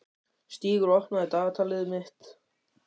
Stígur, opnaðu dagatalið mitt.